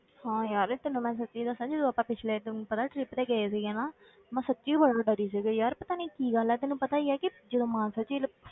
ਹਾਂ ਯਾਰ ਤੈਨੂੰ ਮੈਂ ਸੱਚੀ ਦੱਸਾਂ, ਜਦੋਂ ਆਪਾਂ ਪਿੱਛਲੇ ਤੈਨੂੰ ਪਤਾ trip ਤੇ ਗਏ ਸੀਗੇ ਨਾ ਮੈਂ ਸੱਚੀ ਬੜਾ ਡਰੀ ਸੀਗੀ ਯਾਰ ਪਤਾ ਨੀ ਕੀ ਗੱਲ ਹੈ ਤੈਨੂੰ ਪਤਾ ਹੀ ਹੈ ਕਿ ਜਦੋਂ ਮਾਨਸਾ ਝੀਲ